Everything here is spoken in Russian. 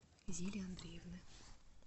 зили андреевны